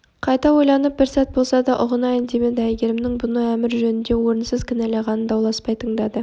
қайта ойланып бір сәт болса да ұғынайын демеді әйгерімнің бұны әмір жөнінде орынсыз кінәлағанын дауласпай тыңдады